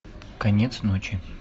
конец ночи